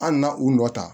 Hali na u nɔ ta